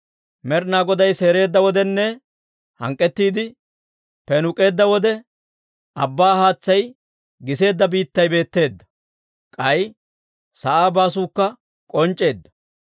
Med'inaa Goday seereedda wodenne, hank'k'ettiide peenuuk'eedda wode, Abbaa haatsay giseedda biittay betteedda. K'ay sa'aa baasuukka k'onc'c'eedda.